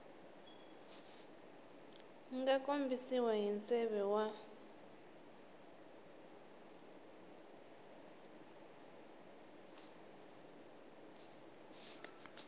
nga kombisiwa hi nseve wa